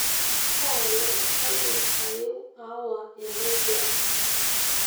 koolong aidim ayieu aawa endoki ai